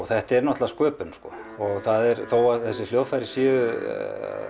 þetta er náttúrulega sköpun þó að þessi hljóðfæri séu